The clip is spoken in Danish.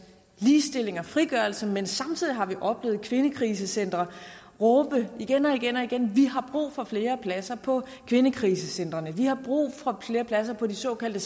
ligestilling og frigørelse men samtidig har vi oplevet kvindekrisecentre råbe igen og igen og igen vi har brug for flere pladser på kvindekrisecentrene vi har brug for flere pladser på de såkaldte